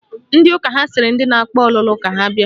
Ndị ụka ha sịrị ndị na-akpa ọlụlụ ka ha bịa